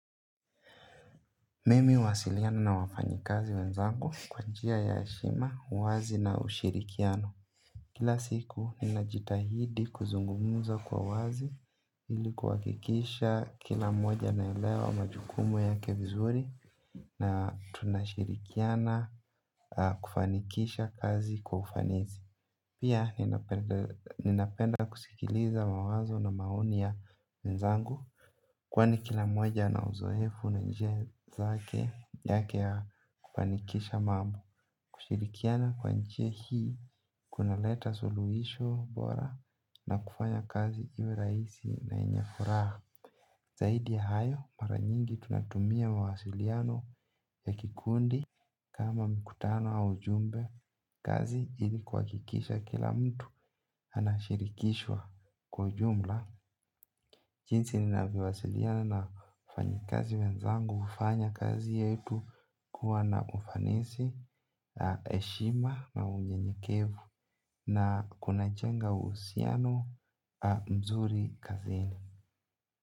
Mimi huwasiliana na wafanyi kazi wenzangu kwa njia ya heshima, uwazi na ushirikiano. Kila siku ninajitahidi kuzungumza kwa uwazi ili kuhakikisha kila mmoja anaelewa majukumu yake vizuri na tunashirikiana kufanikisha kazi kwa ufanisi. Pia ninapenda kusikiliza mawazo na maoni ya wenzangu. Kwani kila mmoja ana uzoefu na njia zake yake ya kufanikisha mambo. Kushirikiana kwa njia hii kunaleta suluhisho bora na kufanya kazi iwe rahisi yenye furaha. Zaidi ya hayo mara nyingi tunatumia mawasiliano ya kikundi kama mikutano au ujumbe. Kazi ili kuhakikisha kila mtu anashirikishwa kwa ujumla. Jinsi ninavyowasiliana na wafanyi kazi wenzangu hufanya kazi yetu kuwa na ufanisi heshima na unyenyekevu na kunajenga uhusiano mzuri kazini.